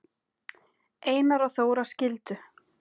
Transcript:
Einar og Þóra skildu.